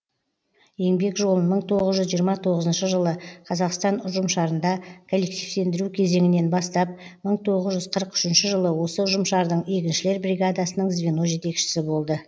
еңбек жолын мың тоғыз жүз жиырма тоғызыншы жылы қазақстан ұжымшарында коллективтендіру кезеңінен бастап мың тоғыз жүз қырық үшінші жылы осы ұжымшардың егіншілер бригадасының звено жетекшісі болды